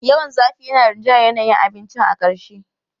Yawan zafi yana rinjayar yanayin abincin a ƙarshe.